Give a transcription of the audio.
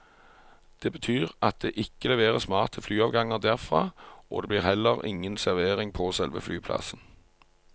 Det betyr at det ikke leveres mat til flyavganger derfra, og det blir heller ingen servering på selve flyplassen.